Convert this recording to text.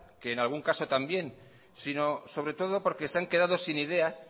que en algún caso también sino sobre todo porque se han quedado sin ideas